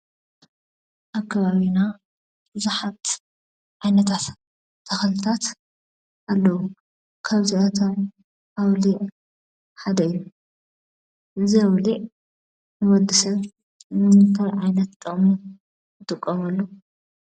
ኣብ ኸባቢና ቡዙሓት ዓይነታት ተኽልታት ኣለው። ኻብዚኣቶም ኣውሊዕ ሓደ እዩ። እዚ ኣውሊዕ ንወድሰብ ንምንታይ ዓይነት ጥቅሚ ንጥቀመሉ?